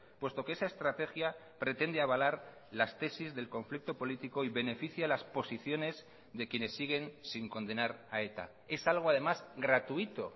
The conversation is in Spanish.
puesto que esa estrategia pretende avalar las tesis del conflicto político y beneficia las posiciones de quienes siguen sin condenar a eta es algo además gratuito